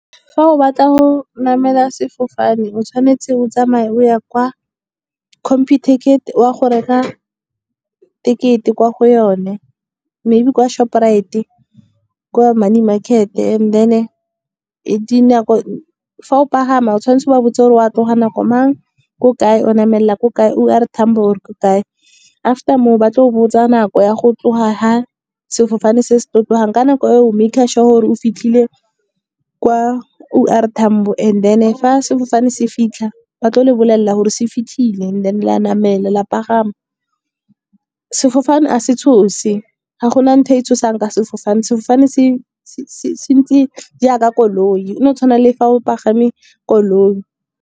Fa o batla go namela sefofane o tshwanetse o tsamaye o ya kwa computicket, o ya go reka ticket-e kwa go yone. Maybe kwa Shoprite-e kwa money market, and then fa o pagama o tshwanetse wa botse gore o tloga nako mang, ko kae o namelela ko kae O R Tambo or ko kae. After moo ba tlo go botsa nako ya go tloga ga sefofane se se tlo tlogang, ka nako eo o maker sure gore o fitlhile kwa O R Tambo, and then fa sefofane se fitlha ba tlo le bolelela gore se fitlhile, and then la namele la pagama. Sefofane ga se tshose, ga gona ntho e tshosang ka sefofane. Sefofane se ntse jaaka koloi go no tshwana le fa o pagame koloi.